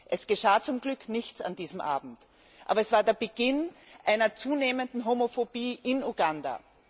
Es geschah zum Glück nichts an diesem Abend, aber es war der Beginn einer zunehmenden Homophobie in Uganda.